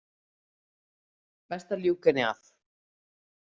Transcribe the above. Best að ljúka henni af.